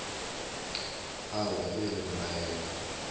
owe ge e le nnaena